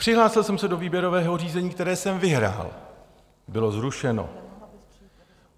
Přihlásil jsem se do výběrového řízení, které jsem vyhrál - bylo zrušeno.